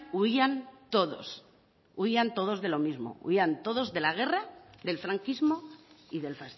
huían todos huían todos de lo mismo huían todos de la guerra del franquismo y del